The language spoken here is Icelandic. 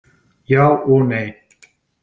Já og nei!